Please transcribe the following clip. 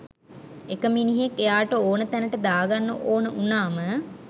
එක මිනිහෙක් එයාට ඕන තැනට දාගන්න ඕන උනාම